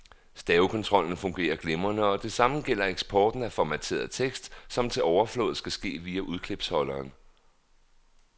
Stavekontrollen fungerer glimrende, og det samme gælder eksporten af formateret tekst, som til overflod kan ske via udklipsholderen.